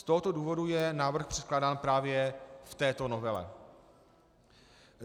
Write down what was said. Z tohoto důvodu je návrh předkládán právě v této novele.